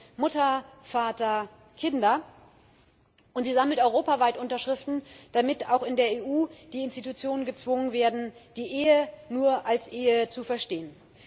Sie heißt Mutter Vater Kinder, und sie sammelt europaweit Unterschriften, damit auch in der EU die Institutionen gezwungen werden, die Ehe nur als Ehe zu verstehen.